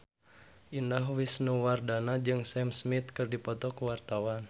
Indah Wisnuwardana jeung Sam Smith keur dipoto ku wartawan